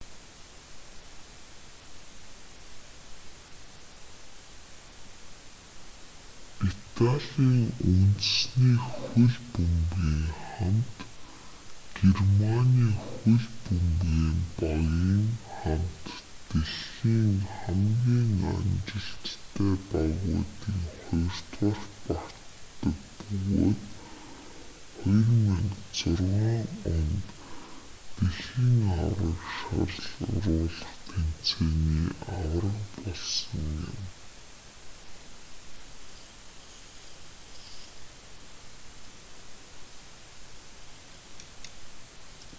италийн үндэсний хөл бөмбөгийн хамт германы хөл бөмбөгийн багийн хамт дэлхийн хамгийн амжилттай багуудын хоёрдугаарт багтдаг бөгөөд 2006 онд дашт-ий аварга болсон юм